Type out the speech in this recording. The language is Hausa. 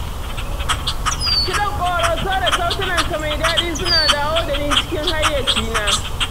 Kiɗan ƙoroso da sautinsa mai daɗi suna dawo da ni cikin hayyacina.